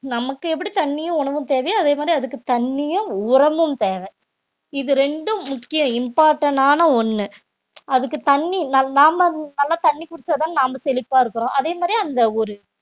நமக்கு எப்படி தண்ணியும் உணவும் தேவையோ அதே மாதிரி அதுக்கு தண்ணியும் உரமும் தேவை இது ரெண்டும் முக்கியம் important ஆன ஒண்ணு அதுக்கு தண்ணி நம்~ நாம நல்லா தண்ணி குடிச்சாதான் நாம செழிப்பா இருக்கிறோம் அதே மாதிரி அந்த